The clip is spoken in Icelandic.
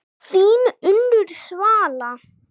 Þín Unnur Svala.